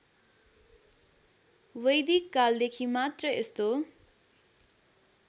वैदिककालदेखि मात्र यस्तो